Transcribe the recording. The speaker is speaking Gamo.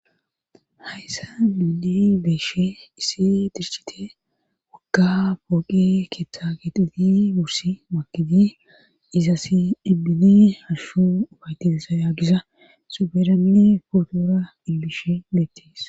Hayssa miidi beeshe isi dirchite wagga pooqi keeththa gexeti bursi makidi izasi dibbine halhshu ubatissa yaagisa suberanne pootora dillishe beettes